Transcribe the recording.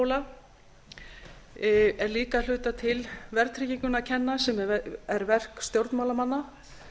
þessi fasteignabóla er líka að hluta til verðtryggingunni að kenna sem er verk stjórnmálamanna